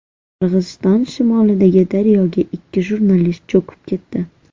Qirg‘iziston shimolidagi daryoga ikki jurnalist cho‘kib ketdi.